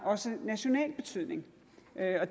også har national betydning